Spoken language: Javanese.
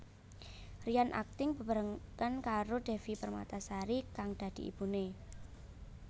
Ryan akting bebarengan karo Devi Permatasari kang dadi ibune